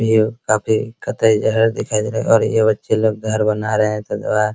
भियू काफी कतई-जहर दिखाई दे रहा है और ये बच्चे लोग घर बना रहे हैं